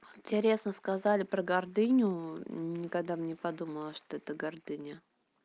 интересно сказали про гордыню ни когда бы подумала что это гордыня